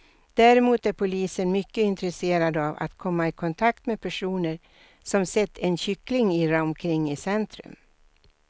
Däremot är polisen mycket intresserad av att komma i kontakt med personer som sett en kyckling irra omkring i centrum.